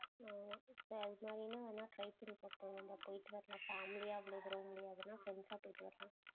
ஆமா சரி அது மாதிரினா வேணா try பண்ணி பாக்கலாம், நம்ம போயிட்டு வரலாம் family யா அவ்ளோ தூரம் முடியாதுனா friends ஆ போயிட்டு வரலாம்